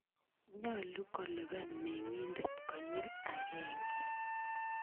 Nyalu kolipan meng'indet konyil akenge.